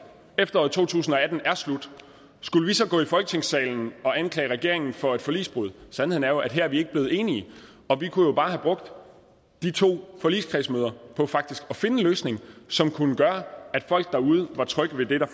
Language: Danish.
efteråret to tusind og atten er slut skulle vi så gå i folketingssalen og anklage regeringen for forligsbrud sandheden er jo at her er vi ikke blevet enige og vi kunne bare have brugt de to forligskredsmøder på faktisk at finde en løsning som kunne gøre at folk derude var trygge ved det der